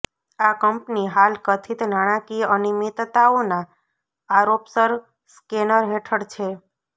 આ કંપની હાલ કથિત નાણાંકીય અનિયમિતતાઓના આરોપસર સ્કેનર હેઠળ છે